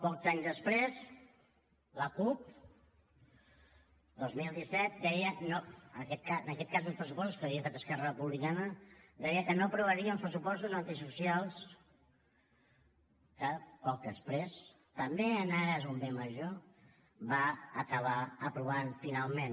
pocs anys després la cup dos mil disset deia en aquest cas uns pressupostos que havia fet esquerra republicana que no aprovaria uns pressupostos antisocials que poc després també en ares d’un bé major va acabar aprovant finalment